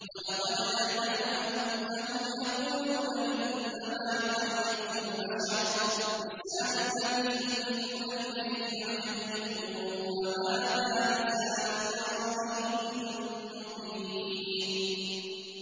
وَلَقَدْ نَعْلَمُ أَنَّهُمْ يَقُولُونَ إِنَّمَا يُعَلِّمُهُ بَشَرٌ ۗ لِّسَانُ الَّذِي يُلْحِدُونَ إِلَيْهِ أَعْجَمِيٌّ وَهَٰذَا لِسَانٌ عَرَبِيٌّ مُّبِينٌ